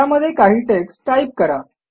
त्यामध्ये काही text type करा